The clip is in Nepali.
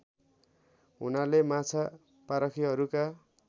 हुनाले माछा पारखीहरूका